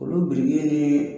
Kɔlɔn biriki ye